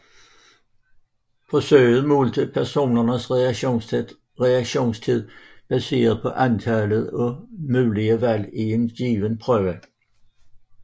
Forsøget målte personens reaktionstid baseret på antallet af mulige valg i en given prøve